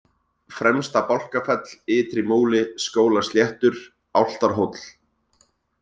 Fremsta-Bálkafell, Ytrimúli, Skólasléttur, Álftarhóll